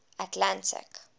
atlantic